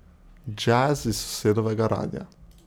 Džez iz sosedovega radia.